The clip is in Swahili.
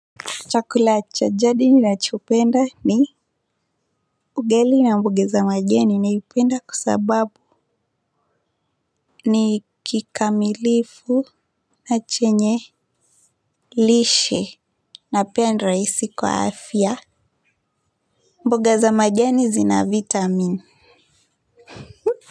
Chakula cha jadi ni nachopenda ni ugali na mboga za majani naipenda kwa sababu ni kikamilifu na chenye lishe na pia ni rahisi kwa afya mboga za majani zina vitamin.